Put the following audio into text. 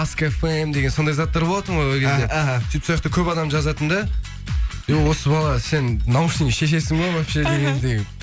аско фэм деген сондай заттар болатын ол кезде сөйтіп сояқта көп адам жазатын да и осы бала сен наушнигіңді шешесің ба вообще дегеңдей